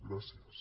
gràcies